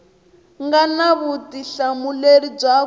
nga na vutihlamuleri bya ku